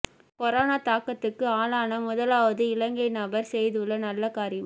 corona தாக்கத்துக்கு ஆளான முதலாவது இலங்கை நபர் செய்துள்ள நல்ல காரியம்